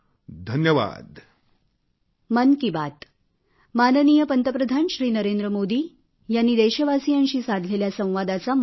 धन्यवाद